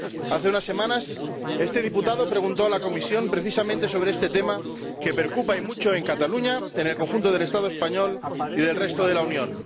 Hace unas semanas, este diputado preguntó a la Comisión precisamente sobre este tema, que preocupa y mucho en Cataluña, en el conjunto del Estado español y en el resto de la Unión.